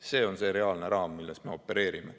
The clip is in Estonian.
See on see reaalne raam, milles me opereerime.